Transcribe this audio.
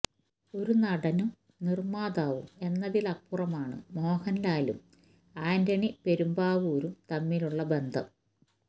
ഒരു നടനും നിര്മാതാവും എന്നതിലപ്പുറമാണ് മോഹന്ലാലും ആന്റണി പെരുമ്പാവൂരും തമ്മിലുള്ള ബന്ധം